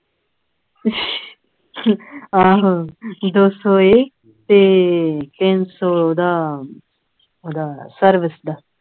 ਆਹੋ ਦੋ ਸੌ ਇਹ ਤੇ ਤਿੰਨ ਸੌ ਹੂੰਦਾ ਹੂੰਦਾ service ਦਾ